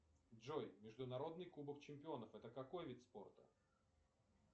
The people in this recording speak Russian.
джой международный кубок чемпионов это какой вид спорта